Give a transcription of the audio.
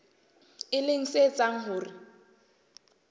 e leng se etsang hore